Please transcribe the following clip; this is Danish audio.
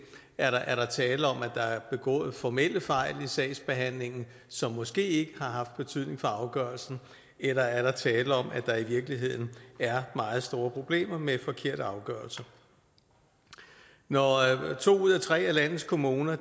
er der er der tale om at der er begået formelle fejl i sagsbehandlingen som måske ikke har haft betydning for afgørelsen eller er der tale om at der i virkeligheden er meget store problemer med forkerte afgørelser når to ud af tre af landets kommuner